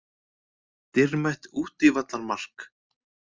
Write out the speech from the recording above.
Dýrmætt útivallarmark.